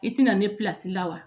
I ti na ne la wa